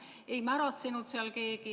Ei märatsenud seal keegi.